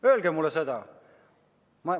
Öelge mulle seda!